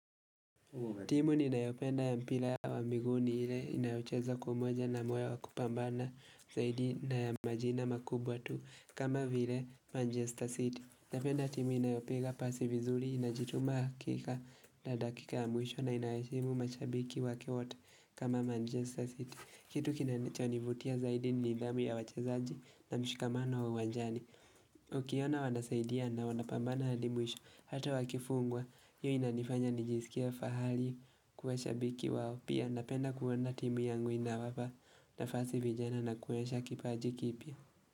Timu ninayopenda ya mpira wa miguu ni ile inayocheza kwa umoja na moyo wa kupambana zaidi na ya majina makubwa tu kama vile Manchester City. Napenda timu inayopiga pasi vizuri inajituma hakika na dakika ya mwisho na inayaheshimu mashabiki wake wote kama Manchester City. Kitu kinachonivutia zaidi ni nidhamu ya wachezaji na mshikamano wa uwanjani. Ukiona wanasaidia na wanapambana hadi mwisho Hata wakifungwa hiyo inanifanya nijisikie fahali Kuwashabiki wao Pia napenda kuwona timu yangu inawapa nafasi vijana na kuwasha kipaji kipya.